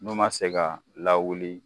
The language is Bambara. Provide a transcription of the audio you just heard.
N'u ma se ka lawuli